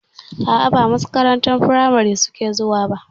A'a ba makarantar firamari suke zuwa ba.